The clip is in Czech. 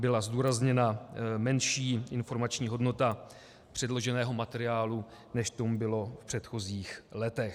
Byla zdůrazněna menší informační hodnota předloženého materiálu, než tomu bylo v předchozích letech.